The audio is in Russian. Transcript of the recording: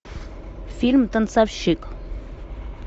фильм танцовщик